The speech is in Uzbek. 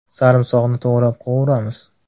Sarimsoqni to‘g‘rab, qovuramiz.